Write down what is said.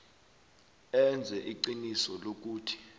enze iqiniso lokuthi